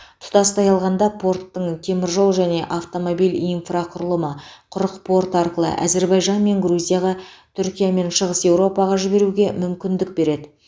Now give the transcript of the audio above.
тұтастай алғанда порттың теміржол және автомобиль инфрақұрылымы құрық порты арқылы әзербайжан мен грузияға түркия мен шығыс еуропаға жіберуге мүмкіндік береді